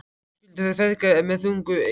Og svo skildu þeir feðgar með þungu geði.